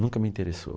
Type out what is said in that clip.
Nunca me interessou.